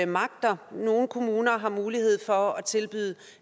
magter nogle kommuner har mulighed for at tilbyde